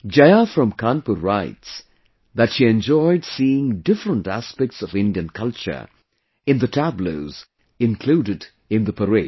Jaya from Kanpur writes that she enjoyed seeing different aspects of Indian culture in the tableaux included in the parade